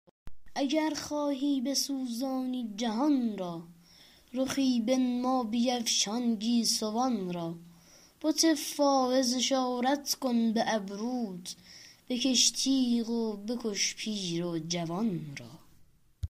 اگر خواهی بسوزانی جهان را رخی بنما بیفشان گیسوان را بت فایز اشارت کن به ابروت بکش تیغ و بکش پیر و جوان را